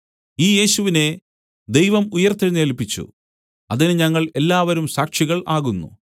ഈ യേശുവിനെ ദൈവം ഉയിർത്തെഴുന്നേല്പിച്ചു അതിന് ഞങ്ങൾ എല്ലാവരും സാക്ഷികൾ ആകുന്നു